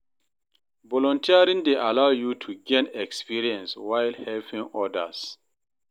Volunteering dey allow yu to gain experience while helping odas.